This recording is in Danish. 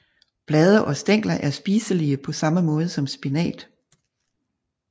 Blade og stængler er spiselige på samme måde som spinat